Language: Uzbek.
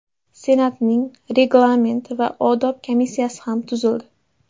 Senatning Reglament va odob komissiyasi ham tuzildi.